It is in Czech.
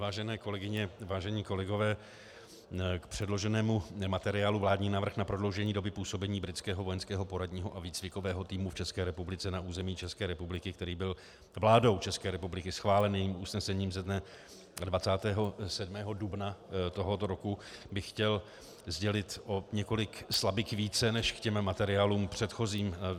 Vážené kolegyně, vážení kolegové, k předloženému materiálu Vládní návrh na prodloužení doby působení Britského vojenského poradního a výcvikového týmu v České republice na území České republiky, který byl vládou České republiky schválen usnesením ze dne 27. dubna tohoto roku, bych chtěl sdělit o několik slabik více než k těm materiálům předchozím.